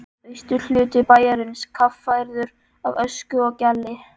Austurhluti bæjarins kaffærður af ösku og gjalli.